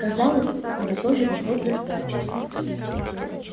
казалось она тоже вот-вот расплачется